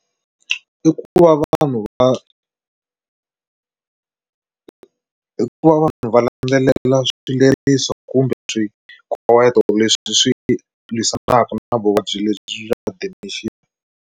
I ku va vanhu va i ku va va va landzelela swileriso kumbe swikoweto leswi swi lwisanaka ni vuvabyi lebyi bya dementia.